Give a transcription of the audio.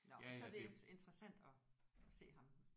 Nåh så er det interessant at at se ham